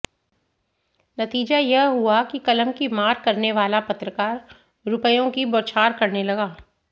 नतीजा यह हुआ कि कलम की मार करने वाला पत्रकार रुपयों की बौछार करने लगा